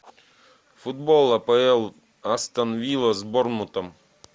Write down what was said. футбол апл астон вилла с борнмутом